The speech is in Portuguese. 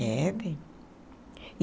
É, bem.